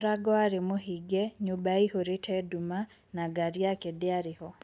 mũrango warĩ mũhinge, nyũmba yaihũrĩte nduma na ngari yake ndiarĩ ho